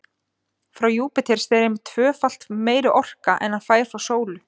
Frá Júpíter streymir tvöfalt meiri orka en hann fær frá sólu.